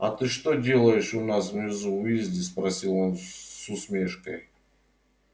а ты что делаешь у нас внизу уизли спросил он с усмешкой